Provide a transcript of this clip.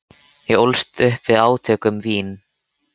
Ég ólst upp við átök um vín.